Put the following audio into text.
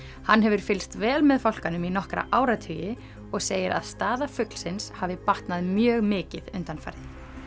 hann hefur fylgst vel með fálkanum í nokkra áratugi og segir að staða fuglsins hafi batnað mjög mikið undanfarið